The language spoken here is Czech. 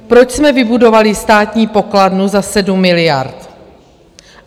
Proč jsme vybudovali Státní pokladnu za 7 miliard?